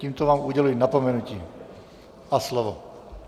Tímto vám uděluji napomenutí a slovo.